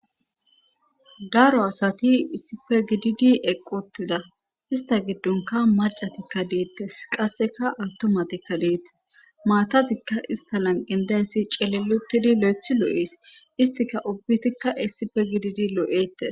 Daro asati issipe gididi eqquttida istta giddonka macatikka deettes qasseka attumatikka deettes maatazikka ista lanqyan daysi celelutidi lo7ethi loo7ees istika ubbitikka issipe gididi loo7ettes.